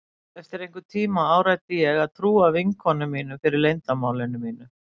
Eftir einhvern tíma áræddi ég að trúa vinkonunum fyrir leyndarmáli mínu.